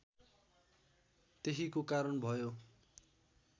त्यहीको कारण भयो